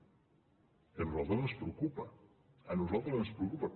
i a nosaltres ens preocupa a nosaltres ens preocupa